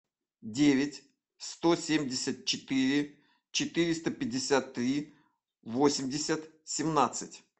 девять сто семьдесят четыре четыреста пятьдесят три восемьдесят семнадцать